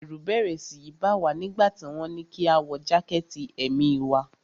Ẹ̀rù bẹ́rẹ́ síi bá wa nígbà tí wọ́n ní kí a wọ jákẹ̀tì èmi wa.